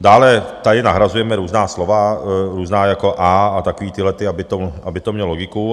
Dále tady nahrazujeme různá slova, různá jako "a" a takový tyhlety, aby to mělo logiku.